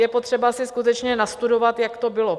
Je potřeba si skutečně nastudovat, jak to bylo.